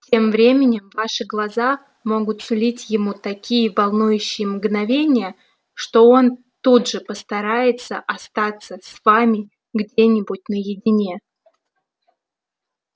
тем временем ваши глаза могут сулить ему такие волнующие мгновения что он тут же постарается остаться с вами где-нибудь наедине